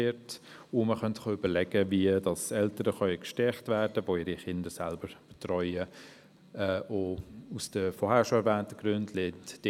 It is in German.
Überlegenswert wäre auch, wie die Eltern, die ihre Kinder selbst betreuen, gestärkt werden könnten.